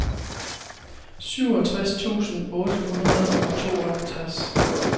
syvogtres tusind otte hundrede og tooghalvtreds